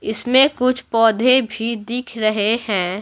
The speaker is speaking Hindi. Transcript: इसमें कुछ पौधे भी दिख रहे हैं।